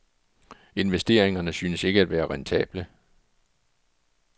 Investeringerne synes ikke at være rentable.